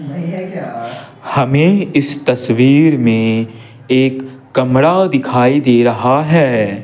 हमें इस तस्वीर में एक कमरा दिखाई दे रहा है।